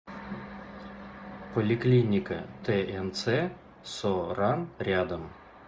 поликлиника тнц со ран рядом